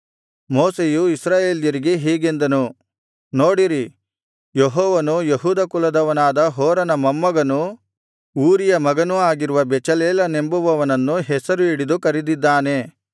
ಮೋಶೆಯು ಇಸ್ರಾಯೇಲ್ಯರಿಗೆ ಹೀಗೆಂದನು ನೋಡಿರಿ ಯೆಹೋವನು ಯೆಹೂದ ಕುಲದವನಾದ ಹೂರನ ಮೊಮ್ಮಗನೂ ಊರಿಯ ಮಗನೂ ಆಗಿರುವ ಬೆಚಲೇಲನೆಂಬವನನ್ನು ಹೆಸರು ಹಿಡಿದು ಕರೆದಿದ್ದಾನೆ